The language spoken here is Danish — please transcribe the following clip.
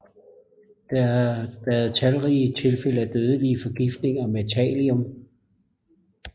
Der har været talrige tilfælde af dødelige forgiftninger med thallium